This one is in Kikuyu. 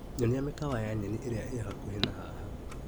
Nyonia mĩkawa ya nyeni ĩrĩa ĩ hakuhĩ na haha.